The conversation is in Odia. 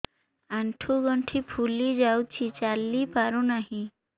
ଆଂଠୁ ଗଂଠି ଫୁଲି ଯାଉଛି ଚାଲି ପାରୁ ନାହିଁ